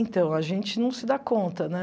Então, a gente não se dá conta, né?